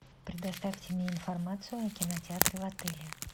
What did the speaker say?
предоставьте мне информацию о кинотеатре в отеле